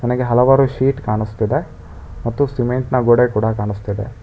ನನಗೆ ಹಲವಾರು ಸೀಟ್ ಕಾಣಿಸ್ತಿದೆ ಮತ್ತು ಸಿಮೆಂಟ್ನ ಗೋಡೆ ಕೂಡ ಕಾಣಿಸ್ತಿದೆ.